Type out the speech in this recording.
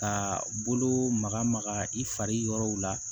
Ka bolo maga maga i fariw la